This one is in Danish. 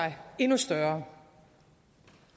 endnu større